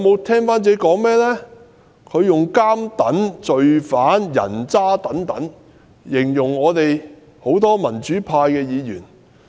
他以"監躉"、"罪犯"、"人渣"等字眼形容多位民主派議員。